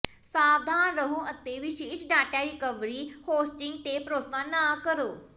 ਸਾਵਧਾਨ ਰਹੋ ਅਤੇ ਵਿਸ਼ੇਸ਼ ਡਾਟਾ ਰਿਕਵਰੀ ਹੋਸਟਿੰਗ ਤੇ ਭਰੋਸਾ ਨਾ ਕਰੋ